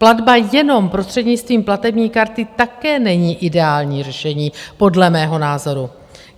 Platba jenom prostřednictvím platební karty také není ideální řešení podle mého názoru.